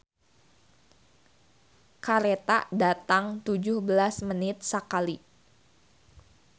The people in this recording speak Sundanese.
"Kareta datang tujuh belas menit sakali"